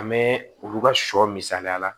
A mɛ olu ka sɔ misaliya la